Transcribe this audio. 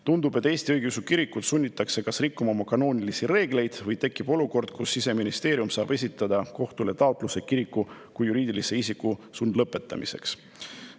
Tundub, et Eesti õigeusu kirikut sunnitakse kas rikkuma oma kanoonilisi reegleid või tekib olukord, kus Siseministeerium saab esitada kohtule taotluse kiriku kui juriidilise isiku sundlõpetamiseks.